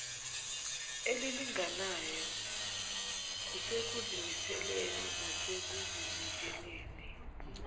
elilinganayo kusekuzimiseleni nasekuzinikeleni